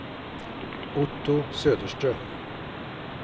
Otto Söderström